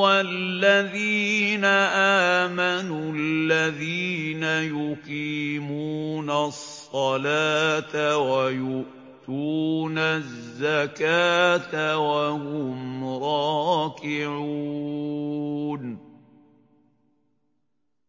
وَالَّذِينَ آمَنُوا الَّذِينَ يُقِيمُونَ الصَّلَاةَ وَيُؤْتُونَ الزَّكَاةَ وَهُمْ رَاكِعُونَ